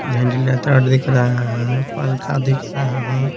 Ventilator दिख रहा है पंखा दिख रहा है।